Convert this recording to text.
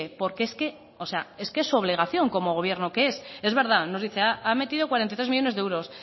porque es que es su obligación como gobierno que es es verdad nos dice ha metido cuarenta y tres millónes de euros